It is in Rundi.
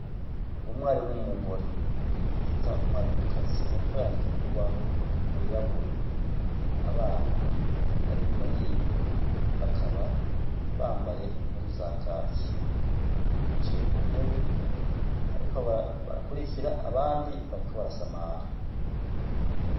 Umwarim umugore bita umwari mukazi, ariko yandika ku rubaho rwirabura abana bari inyuma yiwe bakaba bambaye impuzu za kaki bicaye ku ntebe hariko barakurikira abandi bariko barasamara.